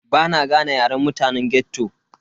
Bana gane yaren mutane ghetto.